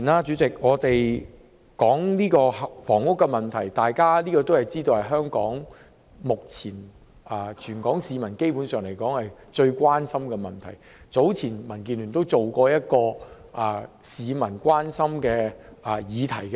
主席，房屋問題基本上是全港市民目前最關心的問題，民建聯早前曾進行一個關於市民關心議題的調查。